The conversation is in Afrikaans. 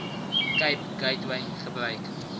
cape gateway gebruik